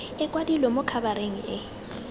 e kwadilwe mo khabareng e